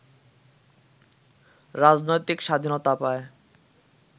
রাজনৈতিক স্বাধীনতা পায়